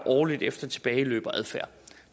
årligt efter tilbageløb og adfærd